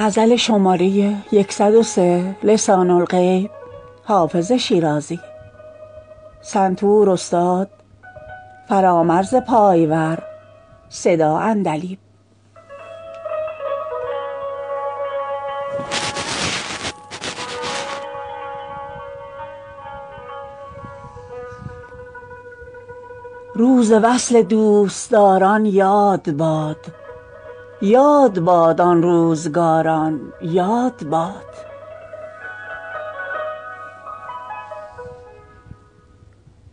روز وصل دوستداران یاد باد یاد باد آن روزگاران یاد باد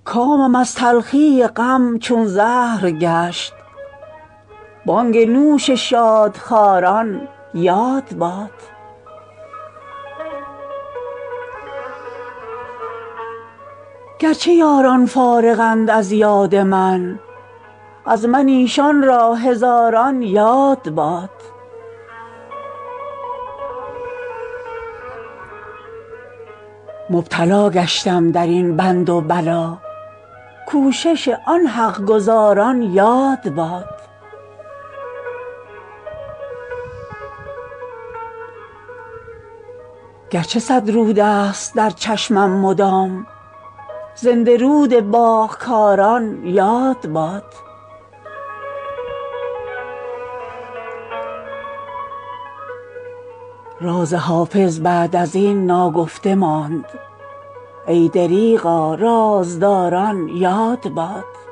کامم از تلخی غم چون زهر گشت بانگ نوش شادخواران یاد باد گر چه یاران فارغند از یاد من از من ایشان را هزاران یاد باد مبتلا گشتم در این بند و بلا کوشش آن حق گزاران یاد باد گر چه صد رود است در چشمم مدام زنده رود باغ کاران یاد باد راز حافظ بعد از این ناگفته ماند ای دریغا رازداران یاد باد